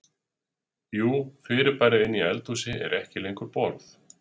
Jú fyrirbærið inni í eldhúsi er ekki lengur borð.